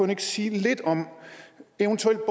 ikke sige lidt om eventuelle